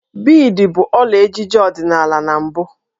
Biidi bụ ọla ejiji ọdịnala na mbụ